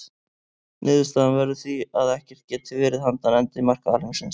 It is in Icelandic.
Niðurstaðan verður því að ekkert geti verið handan endamarka alheimsins.